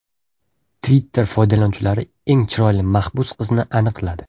Twitter foydalanuvchilari eng chiroyli mahbus qizni aniqladi.